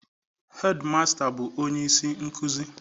hedimasta bụ onye isi nkuzi